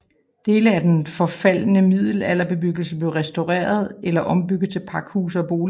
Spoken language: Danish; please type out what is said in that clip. Dele af den forfaldne middelalderbebyggelse blev restaureret eller ombygget til pakhuse og boliger